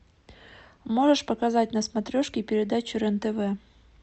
можешь показать на смотрешке передачу рен тв